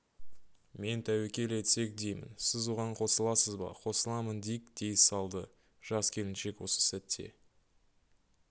мен тәуекел етсек деймін сіз оған қосыласыз ба қосыламын дик дей салды жас келіншек осы сәтте